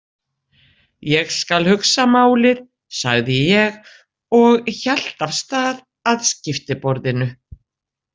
Ég skal hugsa málið, sagði ég og hélt af stað að skiptiborðinu.